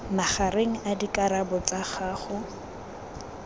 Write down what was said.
magareng a dikarabo tsa gago